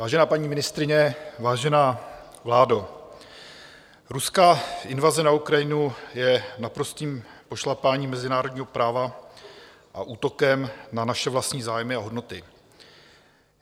Vážená paní ministryně, vážená vládo, ruská invaze na Ukrajinu je naprostým pošlapáním mezinárodního práva a útokem na naše vlastní zájmy a hodnoty.